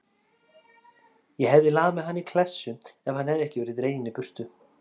Ég hefði lamið hann í klessu ef hann hefði ekki verið dreginn í burtu.